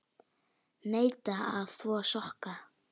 Neita að þvo sokka.